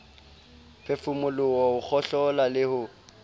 phefumoloho ho kgohlola le ho